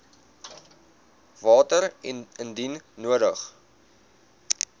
water indien nodig